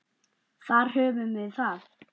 Þar höfðum við það.